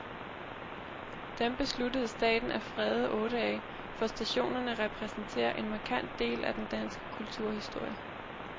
Dem besluttede staten at frede otte af, for stationerne repræsenterer en markant del af den danske kulturhistorie.